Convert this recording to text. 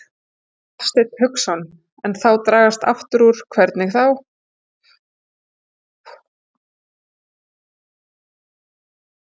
Hafsteinn Hauksson: En dragast aftur úr, hvernig þá?